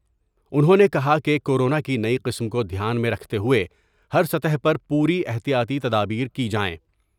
انھوں نے کہا کہ کورونا کی نئی قسم کو دھیان میں رکھتے ہوۓ ہر سطح پر پوری احتیاتی تدابیر کی جائیں ۔